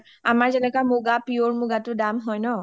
আমাৰ যেনেকুৱা pure মুগাটো দাম হয় ন